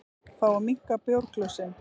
Fá að minnka bjórglösin